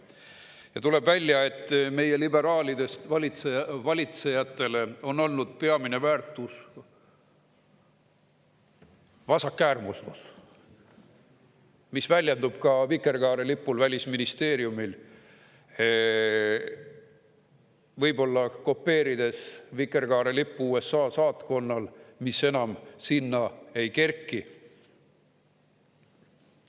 Ja tuleb välja, et meie liberaalidest valitsejatele on olnud peamine väärtus vasakäärmuslus, mis väljendub ka vikerkaarelipule Välisministeeriumi hoonel, võib-olla kopeerides USA saatkonna vikerkaarelippu, mis nüüd enam sinna ei kerki.